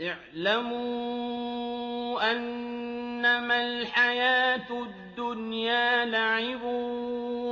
اعْلَمُوا أَنَّمَا الْحَيَاةُ الدُّنْيَا لَعِبٌ